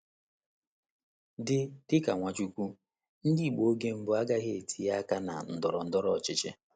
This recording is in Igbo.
Dị Dị ka Nwachukwu, Ndị Igbo oge mbụ agaghị etinye aka na ndọrọ ndọrọ ọchịchị.